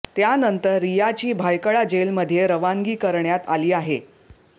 त्यानंतर रियाची भायखळा जेलमध्ये रवानगी करण्यात आली आहे